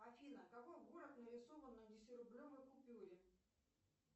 афина какой город нарисован на десяти рублевой купюре